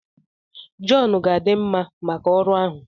John ga-adị mma maka ọrụ ahụ